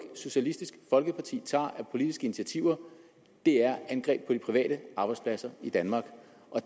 socialistisk folkeparti tager politiske initiativer er angreb på de private arbejdspladser i danmark